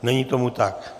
Není tomu tak.